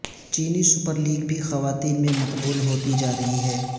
چینی super league بھی خواتین میں مقبول ہوتی جا رہی ہے